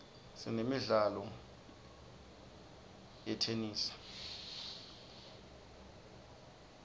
sinemidlalo yetenesi